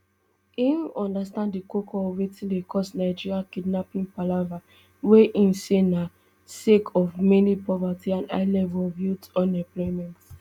im understand di koko of wetin dey cause nigeria kidnapping palava wey im say na sake of mainly poverty and high levels of youth unemployment